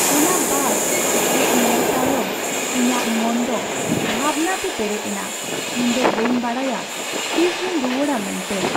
ᱚᱱᱟ ᱵᱟᱥ ᱦᱮᱡ ᱧᱮᱞ ᱛᱟᱭᱚᱢ, ᱤᱧᱟᱹᱜ ᱢᱚᱱ ᱫᱚ ᱵᱷᱟᱵᱽᱱᱟ ᱛᱮ ᱯᱮᱨᱮᱪ ᱮᱱᱟ ᱾ ᱤᱧ ᱫᱚ ᱵᱟᱹᱧ ᱵᱟᱰᱟᱭᱟ ᱛᱤᱥ ᱨᱮᱧ ᱨᱩᱣᱟᱹᱲᱼᱟ ᱢᱮᱱᱛᱮ ᱾